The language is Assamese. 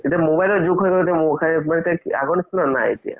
এতিয়া mobile ৰ যোগ হৈ আগৰ নিচিনা নাই এতিয়া